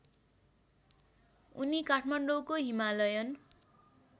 उनी काठमाडौँको हिमालयन